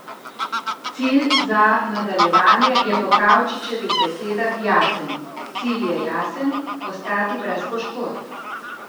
Cilj za nadaljevanje je po Kavčičevih besedah jasen: "Cilj je jasen, ostati brez poškodb.